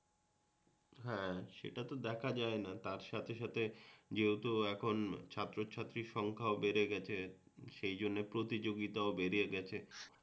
হ্যাঁ সেটা তো দেখা যায়না তার সাথে সাথে যেহেতু এখন ছাত্রছাত্রীর সংখ্যাও বেড়ে গেছে সেই জন্য প্রতিযোগিতাও বেড়ে গেছে